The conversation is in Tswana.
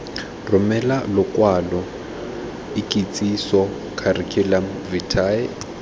romele lokwalo ikitsiso curriculum vitae